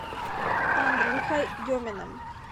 андрюхой деминым